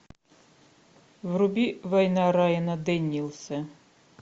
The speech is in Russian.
вруби война райана дэниелса